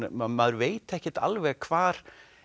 maður veit ekkert alveg hvar